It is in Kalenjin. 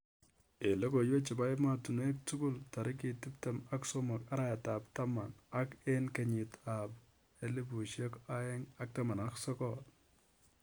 Eng logoiwek chebo emotunwek tugul tarik tiptim ak somok araet ap taman ak aeng 2019.